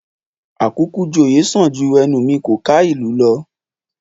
Àkúkú-joyè sàn ju ẹnu mi kò ká ìlú lọ